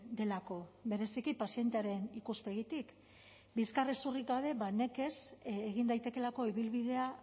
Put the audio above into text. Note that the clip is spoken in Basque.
delako bereziki pazientearen ikuspegitik bizkarrezurrik gabe nekez egin daitekeelako ibilbidea